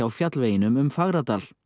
fjallveginum um Fagradal